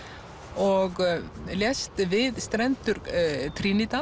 og lést við strendur